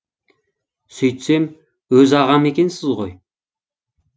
сөйтсем өз ағам екенсіз ғой